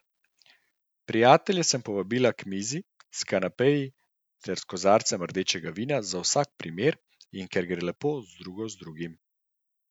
Prijatelje sem povabila k mizi s kanapeji ter kozarcem rdečega vina za vsak primer in ker gre lepo drugo z drugim.